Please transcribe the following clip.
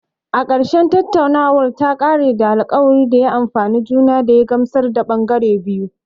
A ƙarshe, tattaunawar ta ƙare da alkawarin da ya amfane juna da ya gamsar da ɓangare biyu